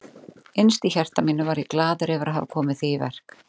Innst í hjarta mínu var ég glaður yfir að hafa komið því í verk.